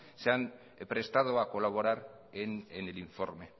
se han prestado a colaborar en el informe